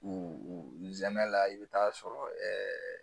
U zɛn la i bi taa sɔrɔ ɛɛ